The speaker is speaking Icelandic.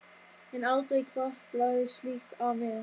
en aldrei hvarflaði slíkt að mér.